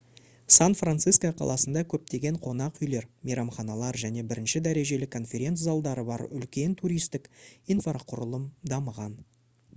сан-франциско қаласында көптеген қонақ үйлер мейрамханалар және бірінші дәрежелі конференц-залдары бар үлкен туристік инфрақұрылым дамыған